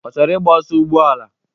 Ọ chọrọ igba ọsọ ụgbọala?